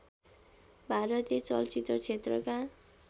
भारतीय चलचित्र क्षेत्रका